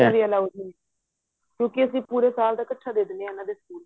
allowed ਨਹੀਂ ਕਿਉਂਕਿ ਅਸੀਂ pure ਸਾਲ ਦਾ ਇੱਕਠਾ ਦੇ ਦਿੰਦੇ ਹਾਂ ਇਹਨਾਂ ਦੇ ਸਕੂਲ